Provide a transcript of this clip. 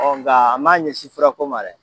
Ɔ nka an m'a ɲɛsin furako ma dɛ!